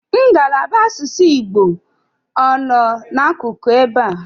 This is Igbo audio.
Ngalaba asụsụ Igbo ọ nọ n'akụkụ ebe a?